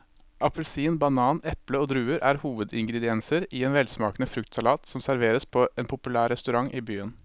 Appelsin, banan, eple og druer er hovedingredienser i en velsmakende fruktsalat som serveres på en populær restaurant i byen.